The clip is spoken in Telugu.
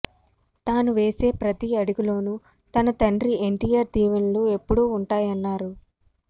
తాను వేసే ప్రతి అడుగులోను తన తండ్రి ఎన్టీఆర్ దీవెనలు ఎప్పుడు ఉంటాయన్నారు